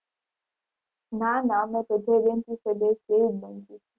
ના ના અમે તો જે benches એ બેસી એ એ જ benches